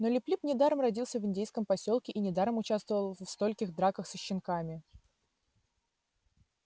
но лип лип недаром родился в индейском посёлке и недаром участвовал в стольких драках со щенками